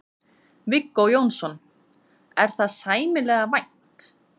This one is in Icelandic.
Viggó Jónsson: Er það sæmilega vænt?